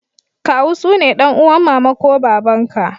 Kawu sune dan'uwan mama ko baba'n ka.